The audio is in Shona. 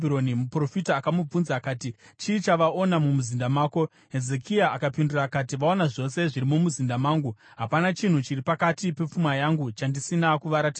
Muprofita akamubvunza akati, “Chii chavaona mumuzinda mako?” Hezekia akapindura akati, “Vaona zvose zviri mumuzinda mangu. Hapana chinhu chiri pakati pepfuma yangu chandisina kuvaratidza.”